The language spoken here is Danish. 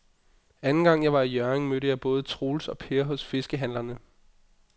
Anden gang jeg var i Hjørring, mødte jeg både Troels og Per hos fiskehandlerne.